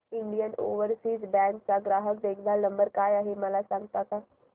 Indian overseas bank चा ग्राहक देखभाल नंबर काय आहे मला सांगता का